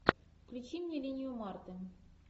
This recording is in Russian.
включи мне линию марты